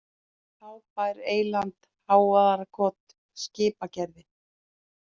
Hábær, Eyland, Hávarðarkot, Skipagerði